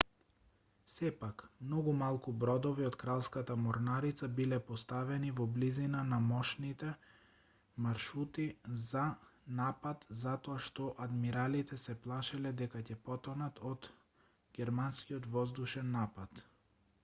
сепак многу малку бродови од кралската морнарица биле поставени во близина на можните маршрути за напад затоа што адмиралите се плашеле дека ќе потонат од германскиот воздушен напад